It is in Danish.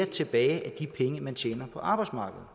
tilbage af de penge man tjener på arbejdsmarkedet